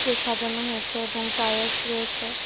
সাজানো হয়েছে এবং টাইলস রয়েছে।